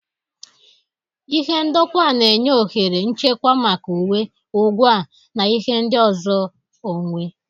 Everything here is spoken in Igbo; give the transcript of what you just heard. Ihe ndokwa na-enye ohere nchekwa maka uwe, ngwa, na ihe ndị ọzọ onwe.